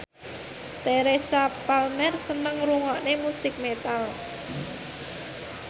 Teresa Palmer seneng ngrungokne musik metal